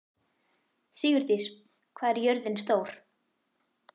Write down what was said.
Sigurdís, hvað er jörðin stór?